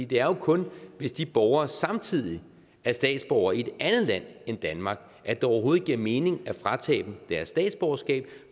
det er jo kun hvis de borgere samtidig er statsborgere i et andet land end danmark at det overhovedet giver mening at fratage dem deres statsborgerskab